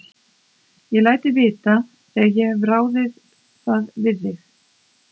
Ég læt þig vita, þegar ég hef ráðið það við mig